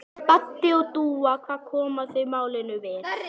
Baddi og Dúa, hvað koma þau málinu við?